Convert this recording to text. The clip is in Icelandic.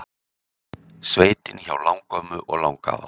Sveitin hjá langömmu og langafa